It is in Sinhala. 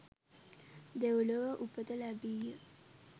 දෙව්ලොව උපත ලැබීය.